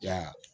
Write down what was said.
Ya